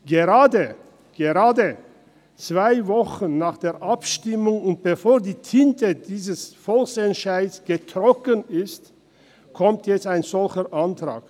Gerade zwei Wochen nach der Abstimmung und bevor die Tinte dieses Volksentscheids getrocknet ist, kommt jetzt ein solcher Antrag.